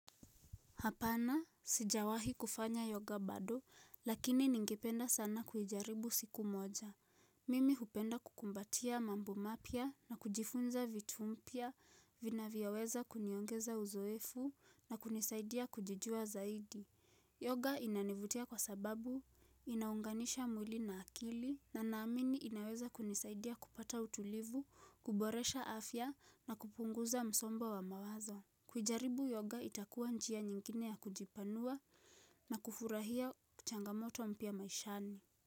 Hapana, sijawahi kufanya yoga bado, lakini ningependa sana kuijaribu siku moja. Mimi hupenda kukumbatia mambo mapya na kujifunza vitu mpya, vinavyoweza kuniongeza uzoefu na kunisaidia kujijua zaidi. Yoga inanivutia kwa sababu, inaunganisha mwili na akili, na naamini inaweza kunisaidia kupata utulivu, kuboresha afya na kupunguza msombo wa mawazo. Kujaribu yoga itakuwa njia nyingine ya kujipanua na kufurahia changamoto mpya maishani.